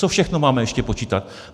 Co všechno máme ještě počítat?